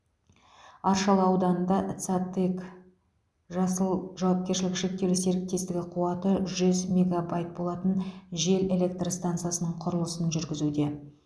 аршалы ауданында цатэк жасыл жауапкершілігі шектеулі серіктестігі қуаты жүз мегобайт болатын жел электр стансасының құрылысы жүргізуде